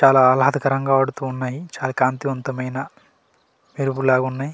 చాలా ఆహాలదకరంగా ఆడుతు ఉన్నాయి చాలా కాంతివంతమైన మెరుపు లాగా ఉన్నాయి.